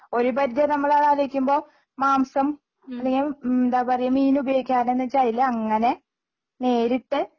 ഒരു പരിധിവരെ നമ്മളത് ആലോചിക്കുമ്പോൾ മാംസം അല്ലെങ്കിൽ ഉം എന്താ പറയ മീൻ ഉപയോഗിക്കാതെ എന്ന് വെച്ച അതില് അങ്ങനെ നേരിട്ട്